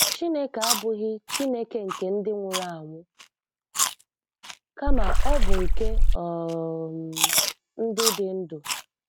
Chineke abụghị Chineke nke ndị nwụrụ anwụ, kama Ọ bụ nke um ndị dị ndụ.